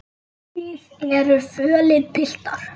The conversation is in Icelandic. Þið eruð fölir, piltar.